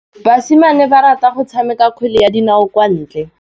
Basimane ba rata go tshameka kgwele ya dinaô kwa ntle.